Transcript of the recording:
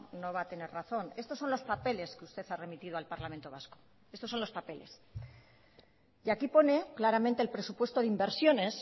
no va a tener razón estos son los papeles que usted ha remitido al parlamento vasco estos son los papeles y aquí pone claramente el presupuesto de inversiones